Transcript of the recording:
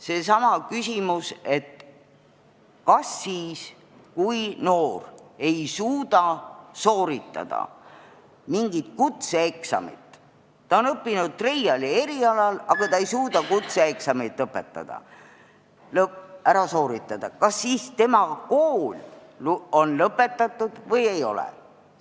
Näiteks seesama küsimus, et kui noor ei suuda sooritada mingit kutseeksamit – ta on õppinud treiali erialal, aga ta ei suuda kutseeksamit ära teha –, siis kas tal on kool lõpetatud või ei ole.